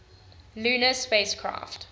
lunar spacecraft